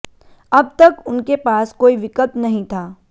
अब तक उनके पास कोई विकल्प नहीं था